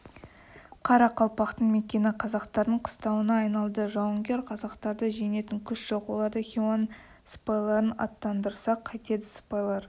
қарақалпақтың мекені қазақтардың қыстауына айналды жауынгер қазақтарды жеңетін күш жоқ оларда хиуаның сыпайларын аттандырсақ қайтеді сыпайлар